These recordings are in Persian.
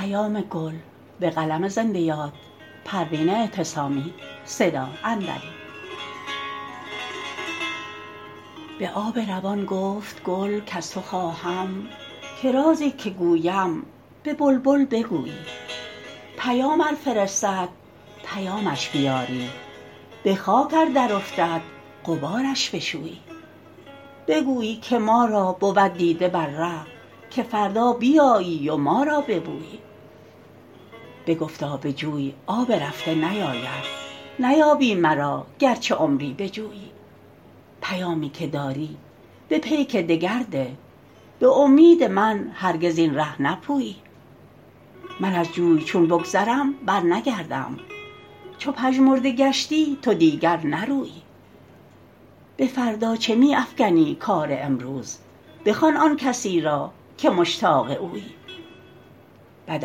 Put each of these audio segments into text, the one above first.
به آب روان گفت گل کز تو خواهم که رازی که گویم به بلبل بگویی پیام ار فرستد پیامش بیاری بخاک ار درافتد غبارش بشویی بگویی که ما را بود دیده بر ره که فردا بیایی و ما را ببویی بگفتا به جوی آب رفته نیاید نیابی مرا گرچه عمری بجویی پیامی که داری به پیک دگر ده بامید من هرگز این ره نپویی من از جوی چون بگذرم برنگردم چو پژمرده گشتی تو دیگر نرویی بفردا چه میافکنی کار امروز بخوان آنکسی را که مشتاق اویی بد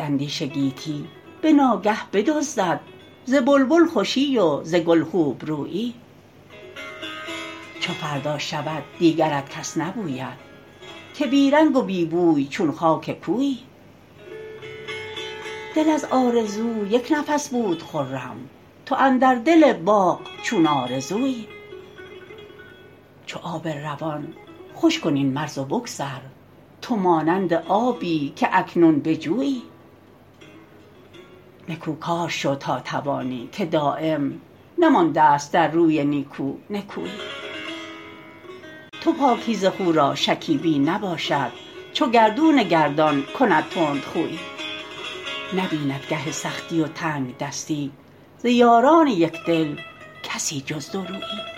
اندیشه گیتی بناگه بدزدد ز بلبل خوشی و ز گل خوبرویی چو فردا شود دیگرت کس نبوید که بی رنگ و بی بوی چون خاک کویی دل از آرزو یکنفس بود خرم تو اندر دل باغ چون آرزویی چو آب روان خوش کن این مرز و بگذر تو مانند آبی که اکنون به جویی نکو کار شو تا توانی که دایم نمانداست در روی نیکو نکویی تو پاکیزه خو را شکیبی نباشد چو گردون گردان کند تندخویی نبیند گه سختی و تنگدستی ز یاران یکدل کسی جز دورویی